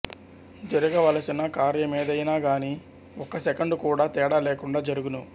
జరుగవలసిన కార్యమేదయినాగానీ ఒక్క సెకండు కూడా తేడా లేకుండా జరుగును